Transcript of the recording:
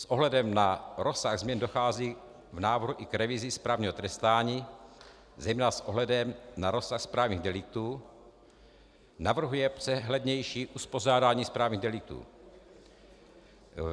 S ohledem na rozsah změn dochází v návrhu i k revizi správního trestání, zejména s ohledem na rozsah správních deliktů navrhuje přehlednější uspořádání správních deliktů.